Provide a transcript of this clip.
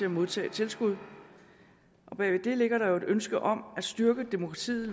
og modtage tilskud bag ved det ligger der jo et ønske om at styrke demokratiet